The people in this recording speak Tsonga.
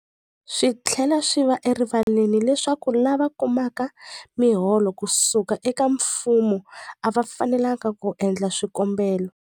Swi tlhela swi va erivaleni leswaku lava kumaka miholo ku suka eka mfumo a va fanelanga ku endla swikombelo.